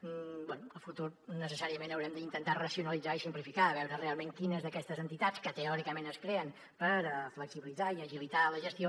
bé a futur necessàriament haurem d’intentar racionalitzar ho i simplificar ho a veure realment quines d’aquestes entitats que teòricament es creen per flexibilitzar i agilitar la gestió